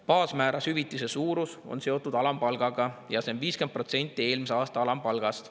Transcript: Baasmääras hüvitise suurus on seotud alampalgaga ja see on 50% eelmise aasta alampalgast.